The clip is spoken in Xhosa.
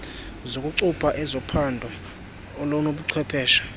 zokucupha ezophando olunobuchwepheshe